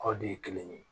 Aw de ye kelen ye